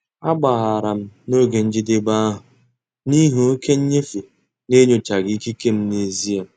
Agbaghara m oge njedebe ahụ n'ihi oke nnyefe n'enyochaghị ikike m n'ezie.